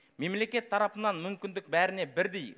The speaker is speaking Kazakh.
мемлекет тарапынан мүмкіндік бәріне бірдей